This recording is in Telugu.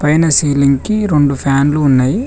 పైన సీలింగ్ కి రెండు ఫ్యాన్లు ఉన్నయి.